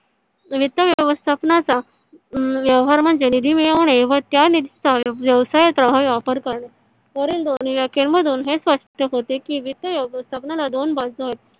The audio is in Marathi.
वित्त व्यवस्थापन चा अं व्यवहार म्हणजे निधी मिळवणे व त्या निधी चा व्यवसायात करणे . वरील दोन्ही व्याख्या मधून हे स्पष्ट होते की वित्त व्यवस्थापन ला दोन बाजू आहेत.